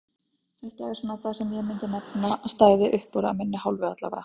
Þetta er svona það sem ég myndi nefna að stæði uppúr af minni hálfu allavega.